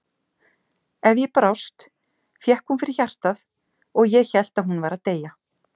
Ef ég brást fékk hún fyrir hjartað og ég hélt að hún væri að deyja.